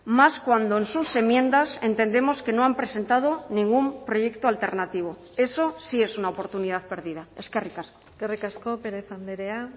más cuando en sus enmiendas entendemos que no han presentado ningún proyecto alternativo eso sí es una oportunidad perdida eskerrik asko eskerrik asko pérez andrea